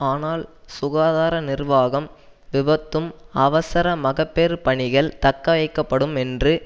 ஆனால் சுகாதார நிர்வாகம் விபத்தும் அவசரமகப்பேறுப் பணிகள் தக்கவைக்கப்படும் என்று